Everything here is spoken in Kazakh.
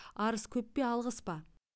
арыз көп пе алғыс па